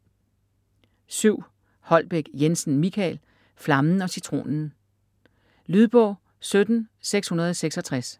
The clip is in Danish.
Holbek Jensen, Michael: Flammen og Citronen Lydbog 17666